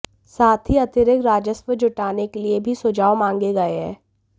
साथ ही अतिरिक्त राजस्व जुटाने के लिए भी सुझाव मंगाए गए हैं